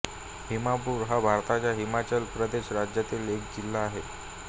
हमीरपुर हा भारताच्या हिमाचल प्रदेश राज्यातील जिल्हा आहे